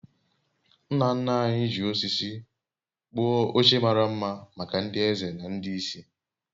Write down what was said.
nna nna anyị ji osisi kpụọ oche mara mma maka ndị eze na ndị isi